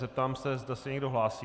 Zeptám se, zda se někdo hlásí.